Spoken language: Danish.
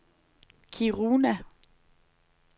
Kiruna